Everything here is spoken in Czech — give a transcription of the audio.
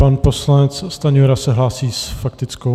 Pan poslanec Stanjura se hlásí s faktickou.